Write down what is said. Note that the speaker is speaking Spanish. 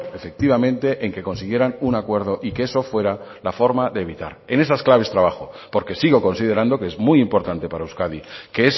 efectivamente en que consiguieran un acuerdo y que eso fuera la forma de evitar en esas claves trabajo porque sigo considerando que es muy importante para euskadi que